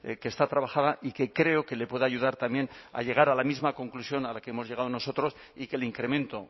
que está trabajada y que creo que le puede ayudar también a llegar a la misma conclusión a la que hemos llegado a nosotros y que el incremento